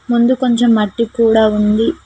ముందు కొంచెం మట్టి కూడా ఉంది.